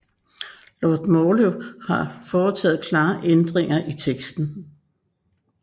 Lord Morley har foretaget klare ændringer i teksten